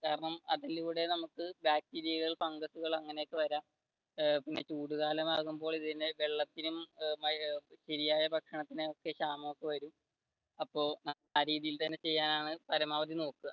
കാരണം അതിലൂടെ നമുക്ക് bacteria കൾ fungus കൾ അങ്ങനെയൊക്കെ വരാം പിന്നെ ചൂട് കാലാമാകുമ്പോൾ വെള്ളത്തിനും ശരിയായ ഭക്ഷണത്തിന് ഒക്കെ ക്ഷാമം വരും അപ്പൊ ആ രീതിയിൽ തന്നെ ചെയ്യാനാണ് പരമാവധി നോക്കുക.